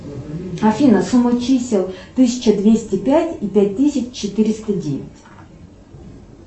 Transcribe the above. афина сумма чисел тысяча двести пять и пять тысяч четыреста девять